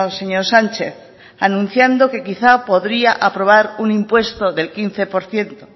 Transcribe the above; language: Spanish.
señor sánchez anunciando que quizá podría aprobar un impuesto del quince por ciento